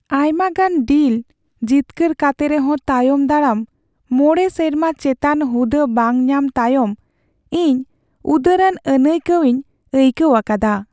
ᱟᱭᱢᱟᱜᱟᱱ ᱰᱤᱞ ᱡᱤᱛᱠᱟᱹᱨ ᱠᱟᱛᱮ ᱨᱮᱦᱚᱸ ᱛᱟᱭᱚᱢ ᱫᱟᱨᱟᱢ ᱢᱚᱬᱮ ᱥᱮᱨᱢᱟ ᱪᱮᱛᱟᱱ ᱦᱩᱫᱟᱹ ᱵᱟᱝ ᱧᱟᱢ ᱛᱟᱭᱚᱢ ᱤᱧ ᱩᱫᱟᱹᱨᱟᱱ ᱟᱹᱱᱟᱹᱭᱠᱟᱹᱣᱤᱧ ᱟᱹᱭᱠᱟᱹᱣ ᱟᱠᱟᱫᱟ ᱾